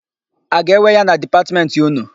A ga-ewe ya na Dipatmentị ụnụ?